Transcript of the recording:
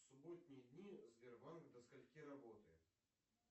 субботние дни сбербанк до скольки работает